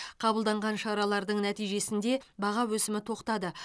қабылданған шаралардың нәтижесінде баға өсімі тоқтады